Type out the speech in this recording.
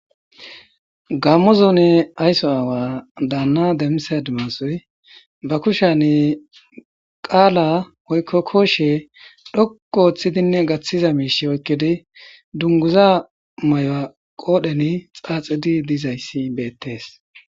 gammo zuune aysso aawa daanna demisad maosoy ba kushane qaala oykko kooshe dhokko ooththidinne gaththiza miishi oykkidi dunguza may7oa qoodhen xaaxidi dizayssi beettees